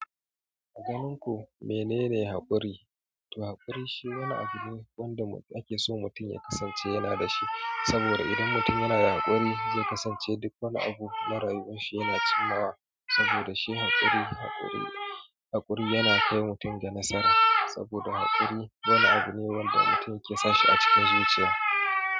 A ganinku menene haƙuri? To haƙuri shine wani abu wanda ake so mutum ya kasance yana da shi. Saboda idan mutum yana da haƙuri, zai kasance duk wani abu na rayuwar shi yana cimmawa. Saboda shi haƙuri, haƙuri, haƙuri yana kai mutum ga nasara. Saboda haƙuri wani abu ne wanda mutum yake sashi a cikin zuciya.